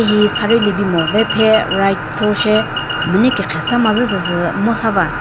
hihi saree libimo ve phe right cho she khü müne kekhrwü sa ma zü süsü ngo sa va.